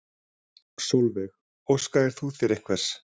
Sólveig: Óskaðir þú þér einhvers?